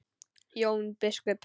Jón biskup!